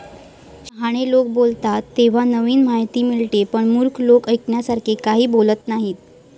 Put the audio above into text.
शहाणे लोक बोलतात तेव्हा नवीन माहिती मिळते. पण मूर्ख लोक ऐकण्यासारखे काही बोलत नाहीत.